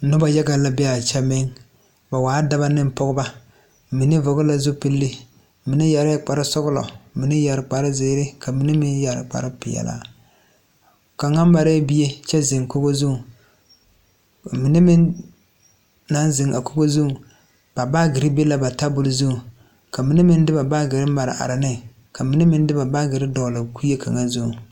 Nobɔ yaga la bee aa kyɛ meŋ ba waa dɔbɔ neŋ pɔgebɔ mine vɔgle la zupille mine yɛrɛɛ kparesɔglɔ mine yɛre kpare zeere ka mine meŋ yɛre kparepeɛɛlaa kaŋa marɛɛ bie kyɛ zeŋ dakogo zuŋ ba mine meŋ naŋ zeŋ a kogo zuŋ ba baagyirre be la ba tabol zuŋ ka mine meŋ de ba baagyirre mare are neŋ ka mine meŋ se ba baagyirre dɔgle bie kaŋa zuŋ.